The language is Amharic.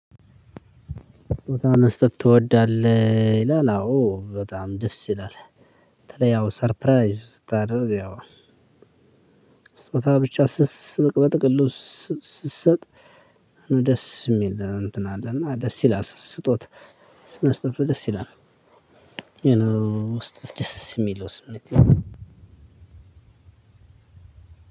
ስጦታ መስጠት ትወዳለህ ይላል አዎ በጣም ደስ ይላል። በተለይ ያው ሰርፕራይዝ ስታደርግ ያው ስጦታ ብቻ ስስ በጥቅሉ ስትሰጥ ደስ የሚል ነው። እንትን አለ እና ደስ ይላል ስጦታ መስጠት ደስ ይላል። የሆነ ውስጥህ ደስ የሚለው ስሜት።